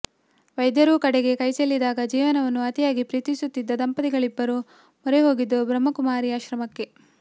ವೈದ್ಯರೂ ಕಡೆಗೆ ಕೈಚೆಲ್ಲಿದಾಗ ಜೀವನವನ್ನು ಅತಿಯಾಗಿ ಪ್ರೀತಿಸುತ್ತಿದ್ದ ದಂಪತಿಗಳಿಬ್ಬರು ಮೊರೆ ಹೋಗಿದ್ದು ಬ್ರಹ್ಮಕುಮಾರಿ ಆಶ್ರಮಕ್ಕೆ